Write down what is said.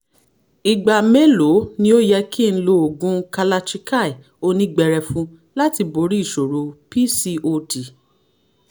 ìgbà mélòó ni ó yẹ kí n lo oògùn kalachikai onígbẹrẹfu láti borí ìṣòro pcod